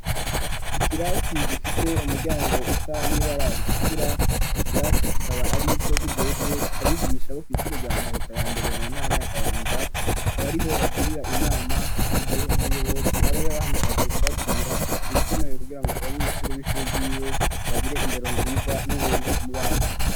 Ikirasi gifise umuryango usa n'ibara ritukura, ico kirasi kikaba ar'ico kijejwe abigisha bo kw'ishure rya Mahota ya mbere mu ntara ya Kayanza ,akaba ariho bagirira inama mu gihe umuyobozi aba yabahamagaje kubabwira ibikenewe kugira ngo abanyeshuri b'ishure ry'iwe bagire indero nziza n'ubuntu mu bantu.